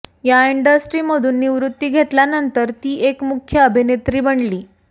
या इंडस्ट्रीमधून निवृत्ती घेतल्यानंतर ती एक मुख्य अभिनेत्री बनली